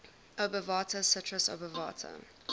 obovata citrus obovata